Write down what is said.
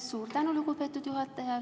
Suur tänu, lugupeetud juhataja!